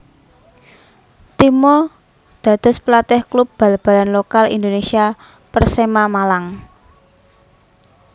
Timo dados pelatih klub bal balan lokal Indonesia Persema Malang